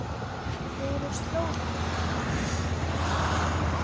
Hver er slóðin?